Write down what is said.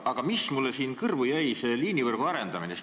Aga mulle jäi siin kõrvu liinivõrgu arendamine.